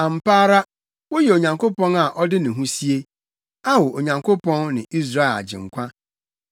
Ampa ara, woyɛ Onyankopɔn a ɔde ne ho sie, Ao Onyankopɔn ne Israel Agyenkwa.